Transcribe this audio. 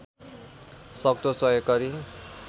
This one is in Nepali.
सक्दो सहयोग गरी